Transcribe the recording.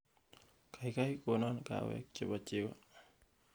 kaigai konon kahawek chebo chego